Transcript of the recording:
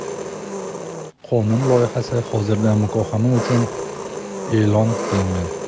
Qonun loyihasi hozirda muhokama uchun e’lon qilingan.